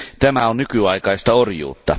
Tämä on nykyaikaista orjuutta.